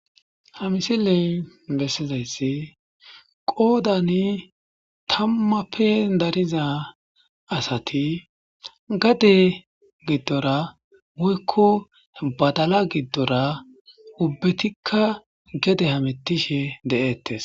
Ha misiley besizaysi qodan 10ppe dariza asati gade gidora woyko badala gidoora ubbatika gede hamutishe de'etes